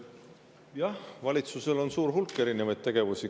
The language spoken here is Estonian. Jah, valitsusel on suur hulk erinevaid tegevusi.